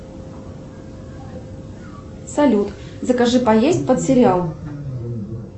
салют закажи поесть под сериал